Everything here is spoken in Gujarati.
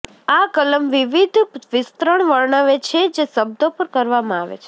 આ કલમ વિવિધ વિસ્તરણ વર્ણવે છે જે શબ્દો પર કરવામાં આવે છે